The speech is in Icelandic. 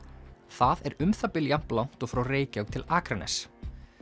það er um það bil jafn langt og frá Reykjavík til Akraness